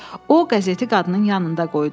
O qəzeti qadının yanında qoydu.